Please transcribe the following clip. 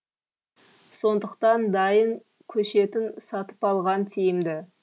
сондықтан дайын көшетін сатып алған тиімді